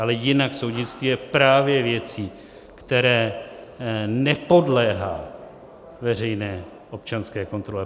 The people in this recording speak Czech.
Ale jinak soudnictví je právě věcí, které nepodléhá veřejné občanské kontrole.